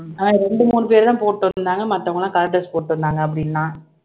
அது ரெண்டு மூணு பேர்தான் போட்டு வந்தாங்க மத்தவங்கெல்லாம் color dress போட்டு வந்தாங்க அப்படின்னா